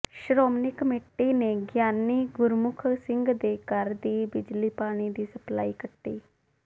Shiromani committee ਨੇ ਗਿਆਨੀ ਗੁਰਮੁਖ ਸਿੰਘ ਦੇ ਘਰ ਦੀ ਬਿਜਲੀ ਪਾਣੀ ਦੀ ਸਪਲਾਈ ਕੱਟੀ